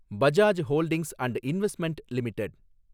Bajaj holdings and investment limited